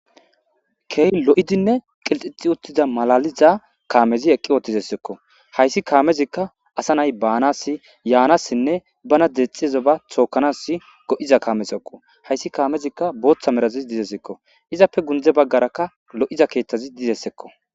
keey lo7idinne qilxixi uttiza malaliza kaamezi eqqi ootizessekko hayssi kaamezikka asa nay baanas yaanassinne bana dexxiezo ba thookanas go7iza kaamesekko hayssi kaamezikka booththa merazis dizessekko izappe gundze baggarakka lo7iza keeththazi dizessekko